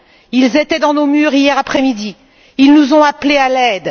Ils étaient dans nos murs hier après midi, ils nous ont appelés à l'aide.